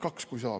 Kaks, kui saab.